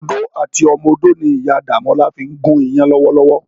Odó àti ọmọ odó ni Iyá Damola fin gún iyàn lòwòlòwò.